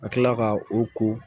Ka kila ka o ko